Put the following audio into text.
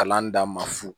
Kalan d'a ma fu